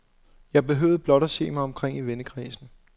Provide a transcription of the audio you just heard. Jeg behøvede blot se mig omkring i vennekredsen.